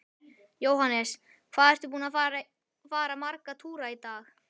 Jóhannes: Hvað ertu búinn að fara marga túra í dag?